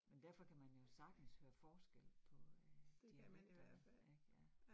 Men derfor kan man jo sagtens høre forskel på øh dialekterne ik ja